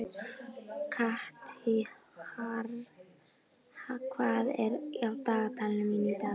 Katharina, hvað er á dagatalinu mínu í dag?